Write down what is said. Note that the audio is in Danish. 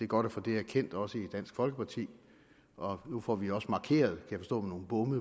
godt at få det erkendt også i dansk folkeparti og nu får vi også markeret